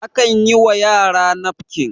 akan yiwa yara nafkin